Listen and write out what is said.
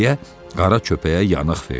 deyə qara köpəyə yanıq verdi.